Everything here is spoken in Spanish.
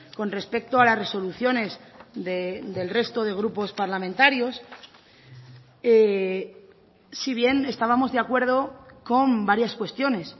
con respecto a las resoluciones del resto de grupos parlamentarios si bien estábamos de acuerdo con varias cuestiones